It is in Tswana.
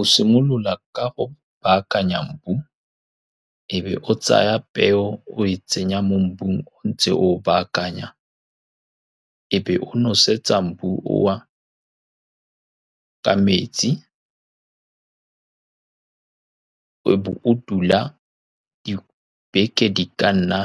O simolola ka go baakanya mobu, e be o tsaya peo o e tsenya mo mobung. O ntse oo baakanya, e be o nosetsa mobu oo ka metsi. E be o dula dibeke di ka nna